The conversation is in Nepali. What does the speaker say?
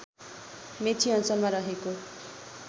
मेची अञ्चलमा रहेको